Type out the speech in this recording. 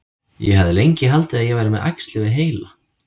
Ég hafði lengi haldið að ég væri með æxli við heila.